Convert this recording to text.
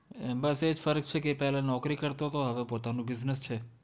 બસ એ જ ફરક છે કે પહેલાં નોકરી કરતો તો હવે પોતાનો business છે.